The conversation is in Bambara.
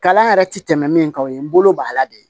Kalan yɛrɛ ti tɛmɛ min kan o ye n bolo bala de ye